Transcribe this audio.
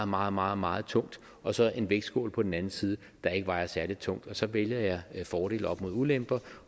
meget meget meget tungt og så en vægtskål på den anden side der ikke vejer særlig tungt og så vælger jeg at veje fordele op mod ulemper